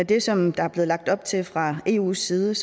det som der er blevet lagt op til fra eus side